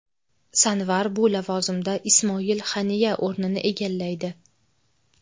Sanvar bu lavozimda Ismoil Haniya o‘rnini egallaydi.